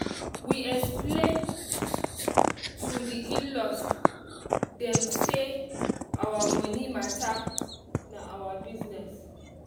we explain to the in-laws dem say our money matter na our business